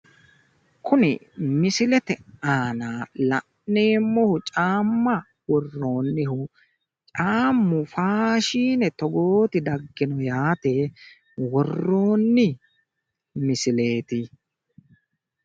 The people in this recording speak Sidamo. Kuni misilete aana la'neemmohu caamma worroonnihu caammu faashine togooti daggino yaate worroonni misileeti.